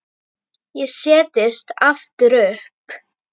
Ég settist aftur upp.